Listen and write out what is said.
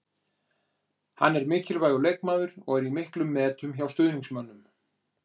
Hann er mikilvægur leikmaður og er í miklum metum hjá stuðningsmönnum.